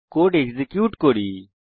code execute করি